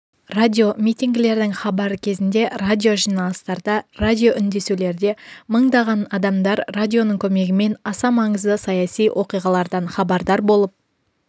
радиомитингілердің хабары кезінде радиожиналыстарда радиоүндесулерде мыңдаған адамдар радионың көмегімен аса маңызды саяси оқиғалардан хабардар болып